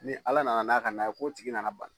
Ni Ala nana n'a ka n'a ye k'o tigi nana bana